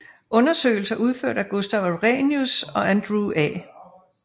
Undersøgelser udført af Gustaf Arrhenius og Andrew A